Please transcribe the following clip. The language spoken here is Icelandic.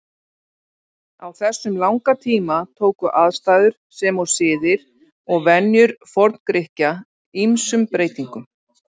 Á þessum langa tíma tóku aðstæður sem og siðir og venjur Forngrikkja ýmsum breytingum.